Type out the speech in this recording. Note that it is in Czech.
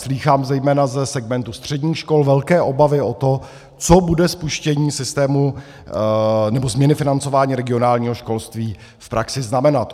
Slýchám zejména ze segmentu středních škol velké obavy o to, co bude spuštění systému nebo změny financování regionálního školství v praxi znamenat.